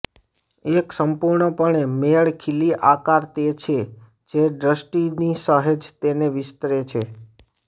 એક સંપૂર્ણપણે મેળ ખીલી આકાર તે છે જે દૃષ્ટિની સહેજ તેને વિસ્તરે છે